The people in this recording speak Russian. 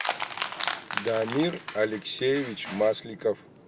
дамир алексеевич масликов